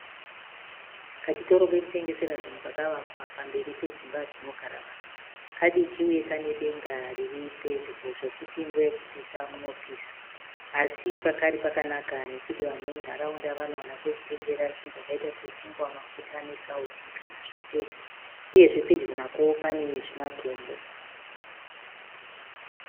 Kachitoro kekutengesera zvinhu kakawakwa pamberi pedzimba dzinogara vanhu. Kadiki uye Kane denga riripedyo zvekuti nguva yekupisa munopasa. Asi pakari pakanaka nekuti vanhu vemunharaunda vanowana kwekunotengera zvinhu zvakaita sechingwa, mafuta, nesauti kana zvapera. Uyewo pedyo nepo panewo zvimatombo